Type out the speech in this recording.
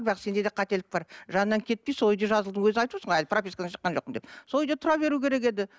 бірақ сенде де қателік бар жанынан кетпей сол үйде жазылдың өзің айып отырсың ғой әлі пропискадан шыққан жоқпын деп сол үйде тұра беру керек еді